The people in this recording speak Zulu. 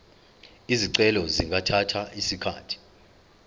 izicelo zingathatha isikhathi